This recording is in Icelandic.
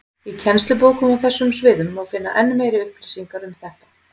Í kennslubókum á þessum sviðum má finna enn meiri upplýsingar um þetta.